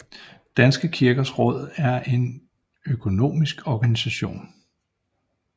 Danske Kirkers Råd er en økumenisk organisation